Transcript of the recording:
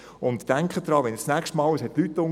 Denken Sie daran, wenn Sie das nächste Mal ...